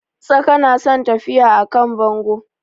Tsaka na son tafiya a kan bango